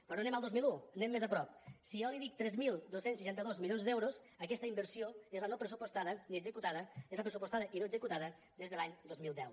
però no anem al dos mil un anem més a prop si jo li dic tres mil dos cents i seixanta dos milions d’euros aquesta inversió és la pressupostada i no executada des de l’any dos mil deu